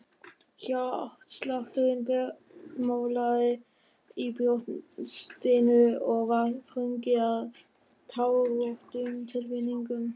Hjartslátturinn bergmálaði í brjóstinu og var þrungið af tárvotum tilfinningum.